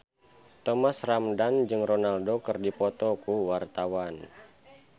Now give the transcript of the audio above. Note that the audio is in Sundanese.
Thomas Ramdhan jeung Ronaldo keur dipoto ku wartawan